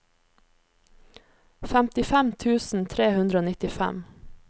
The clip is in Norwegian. femtifem tusen tre hundre og nittifem